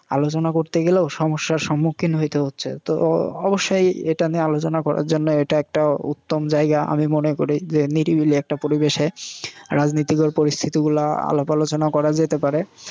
আলোচনা করতে গেলেও সমস্যার সম্মুখীন হইতে হচ্ছে। তো অবশ্যই এটা নিয়ে আলোচনা করার জন্যে একটা উত্তম জায়গা আমি মনে করি যে নিরিবিলি একটা পরিবেশে রাজনীতিকর পরিস্থিতিগুলা আলাপ আলোচনা করা যেতে পারে।